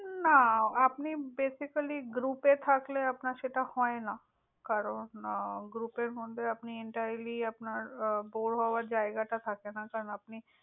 না। আপনি basically group এ থাকলে আপনার সেটা হয়না। কারন group এর মধ্যে আপনি entirelly আপনার bore হবার জায়গা টা থাকে না। কারন আপনি,